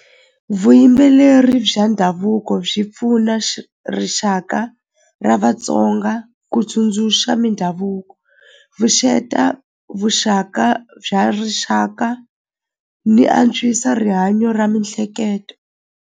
Vuyimbeleri bya ndhavuko byi pfuna rixaka ra vatsonga ku tsundzuxa mindhavuko vuxaka bya rixaka ni antswisa rihanyo ra mihleketo.